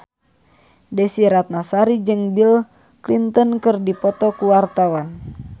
Desy Ratnasari jeung Bill Clinton keur dipoto ku wartawan